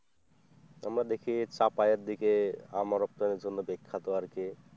আমরা দেখি চাপায়ের দিকে আম রপ্তানির জন্য বিখ্যাত আর কি,